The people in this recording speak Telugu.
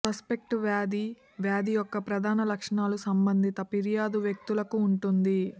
సస్పెక్ట్ వ్యాధి వ్యాధి యొక్క ప్రధాన లక్షణాలు సంబంధిత ఫిర్యాదు వ్యక్తులకు ఉంటుంది